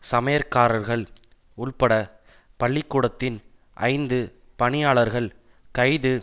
சமையற்காரர்கள் உள்பட பள்ளிக்கூடத்தின் ஐந்து பணியாளர்கள் கைது